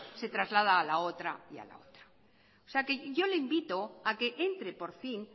se traslada a la otra y a la otra yo le invito a que entre por fin